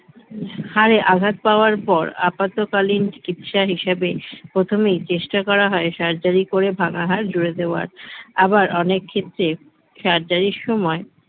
হাড়ে আঘাত পাওয়ার পর আপাতকালীন চিকিৎসা হিসেবে প্রথমেই চেষ্টা করা হয় surgery করে ভাঙা হাড় জুড়ে দেওয়ার আবার অনেক ক্ষেত্রে surgery এর সময়